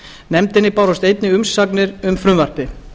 nefndinni bárust einnig umsagnir um frumvarpið